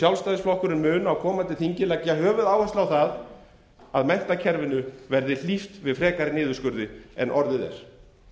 sjálfstæðisflokkurinn mun á komandi þingi leggja höfuðáherslu á það að menntakerfinu verði hlíft við frekari niðurskurði en orðið er